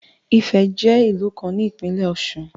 Ifẹ̀ jẹ́ ìlú kan ní ìpínlẹ̀ Ọ̀ṣun.